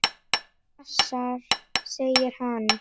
Hasar, segir hann.